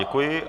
Děkuji.